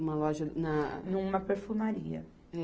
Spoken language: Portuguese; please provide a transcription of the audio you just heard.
Uma loja na... Numa perfumaria.